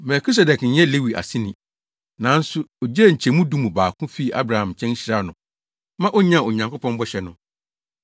Melkisedek nyɛ Lewi aseni, nanso ogyee nkyɛmu du mu baako fii Abraham nkyɛn hyiraa no ma onyaa Onyankopɔn bɔhyɛ no.